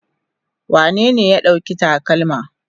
Wanene ya ɗauki takalma?